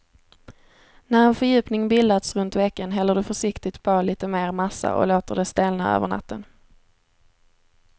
När en fördjupning bildats runt veken häller du försiktigt på lite mer massa och låter det stelna över natten.